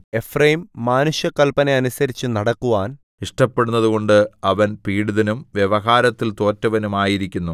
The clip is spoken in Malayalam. എഫ്രയീം മാനുഷകല്പന അനുസരിച്ചുനടക്കുവാൻ ഇഷ്ടപ്പെട്ടതുകൊണ്ട് അവൻ പീഡിതനും വ്യവഹാരത്തിൽ തോറ്റവനും ആയിരിക്കുന്നു